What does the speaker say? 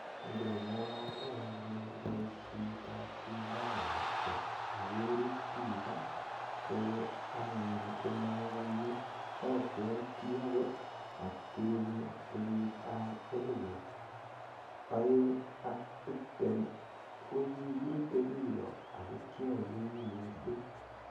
Ngengalale anyun boishet ap sindanoshek akerut biko ko anyun komakonye abuote akot atkinye kenyit ap elipu oeng ak tiptem ko kikirutei biko ako kiaiwei missing.